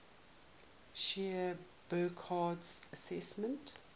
shared burckhardt's assessment